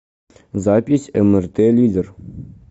запись мрт лидер